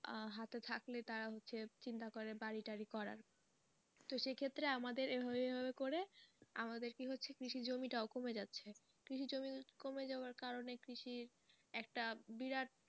আহ হাতে থাকলে তারা হচ্ছে চিন্তা করে বাড়ি টাড়ি করার তো সেক্ষেত্রে আমাদের এই হয়ে হয়ে করে আমাদের কি হচ্ছে কৃষি জমি টাও কমে যাচ্ছে কৃষি জমি কমে যাওয়ার কারে কৃষির একটা বিরাট,